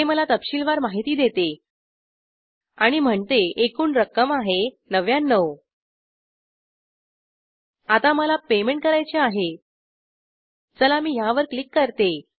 ते मला तपशीलवार माहिती देते आणि म्हणते एकूण रक्कम आहे ९९ आता मला पेमेंट करायचे आहे चला मी ह्यावर क्लिक करते